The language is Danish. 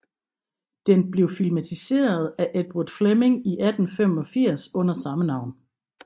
Den blev filmatiseret af Edward Fleming i 1985 under samme navn